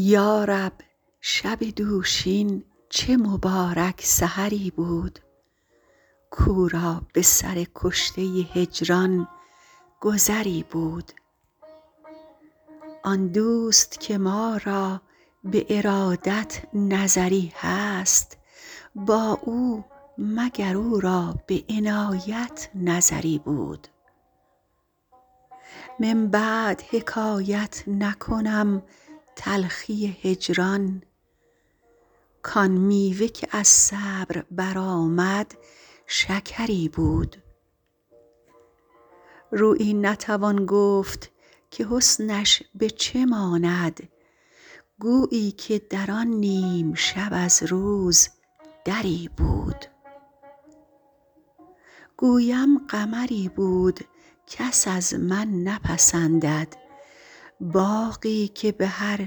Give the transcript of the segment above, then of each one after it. یا رب شب دوشین چه مبارک سحری بود کاو را به سر کشته هجران گذری بود آن دوست که ما را به ارادت نظری هست با او مگر او را به عنایت نظری بود من بعد حکایت نکنم تلخی هجران کآن میوه که از صبر برآمد شکری بود رویی نتوان گفت که حسنش به چه ماند گویی که در آن نیم شب از روز دری بود گویم قمری بود کس از من نپسندد باغی که به هر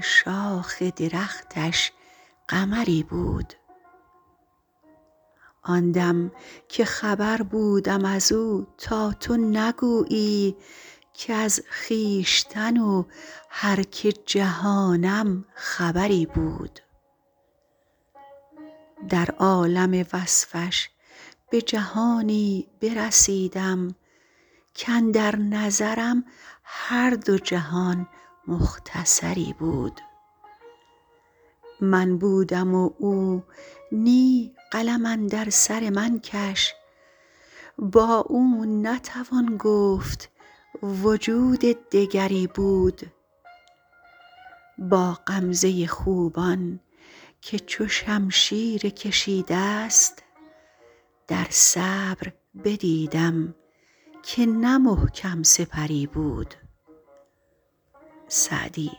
شاخ درختش قمری بود آن دم که خبر بودم از او تا تو نگویی کز خویشتن و هر که جهانم خبری بود در عالم وصفش به جهانی برسیدم کاندر نظرم هر دو جهان مختصری بود من بودم و او نی قلم اندر سر من کش با او نتوان گفت وجود دگری بود با غمزه خوبان که چو شمشیر کشیده ست در صبر بدیدم که نه محکم سپری بود سعدی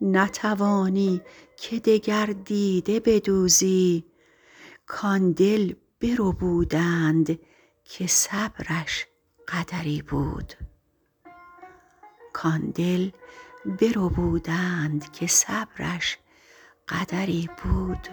نتوانی که دگر دیده بدوزی کآن دل بربودند که صبرش قدری بود